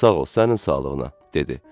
Sağ ol, sənin sağlığına, dedi.